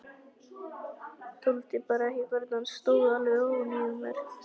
Þoldi bara ekki hvernig hann stóð alveg ofan í mér.